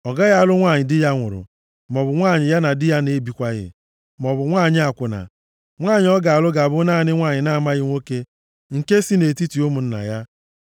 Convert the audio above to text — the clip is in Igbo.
Ọ gaghị alụ nwanyị di ya nwụrụ, maọbụ nwanyị ya na di ya na-ebikwaghị, maọbụ nwanyị akwụna. Nwanyị ọ ga-alụ ga-abụ naanị nwanyị na-amaghị nwoke nke si nʼetiti ụmụnna ya,